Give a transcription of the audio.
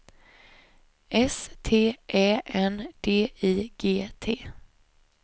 S T Ä N D I G T